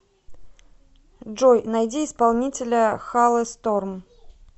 джой найди исполнителя халесторм